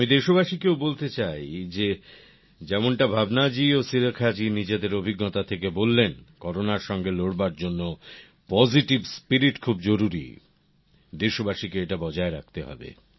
আমি দেশবাসীকেও বলতে চাই যে যেমনটা ভাবনা জী ও সুরেখা জী নিজেদের অভিজ্ঞতা থেকে বললেন কোরোনার সঙ্গে লড়বার জন্য পজিটিভ স্পিরিট খুব জরুরী দেশবাসীকে এটা বজায় রাখতে হবে